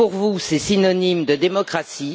Pour vous, c'est synonyme de démocratie.